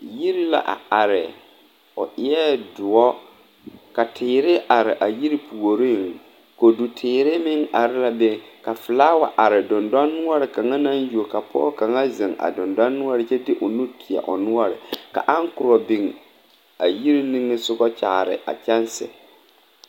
Yiri la a are o e la doɔre ka teere a are a yiri puoriŋ koduteere meŋ are la be ka filaaware are dendɔnoɔre kaŋa naŋ yuo ka pɔge kaŋa zeŋ a dendɔnoɔre kyɛ de o nu teɛ o noɔre ka aŋkorɔ biŋ a yiri nige soga kyaare a kyɛnsi.